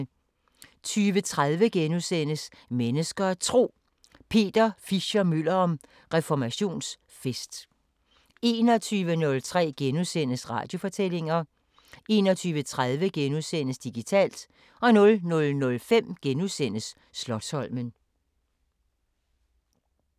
20:30: Mennesker og Tro: Peter Fischer-Møller om reformationsfest * 21:03: Radiofortællinger * 21:30: Digitalt * 00:05: Slotsholmen *